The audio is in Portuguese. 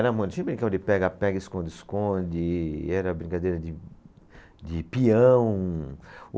Tinha brincava de pega-pega, esconde-esconde, era brincadeira de, de pião.